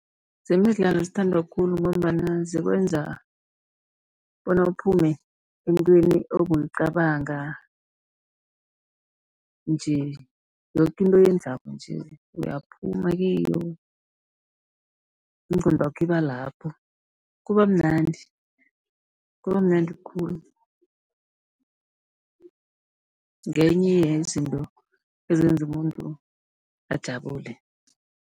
Zemidlalo zithandwa khulu, ngombana zikwenza bona uphume entweni obowuyicabanga nje. Yoke into oyenzako nje uyaphuma kiyo, ingqondwakho iba lapho kuba mnandi, kuba mnandi khulu. Ngenye yezinto ezenza umuntu ajabule.